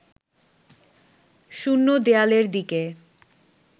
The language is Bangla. শূন্য দেয়ালের দিকে